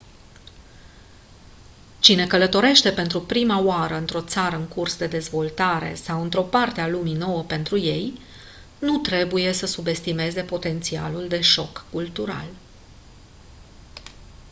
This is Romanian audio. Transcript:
cine călătorește pentru prima oară într-o țară în curs de dezvoltare sau într-o parte a lumii nouă pentru ei nu trebuie să subestimeze potențialul de șoc cultural